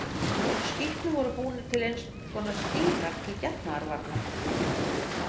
Úr skítnum voru búnir til eins konar stílar til getnaðarvarna.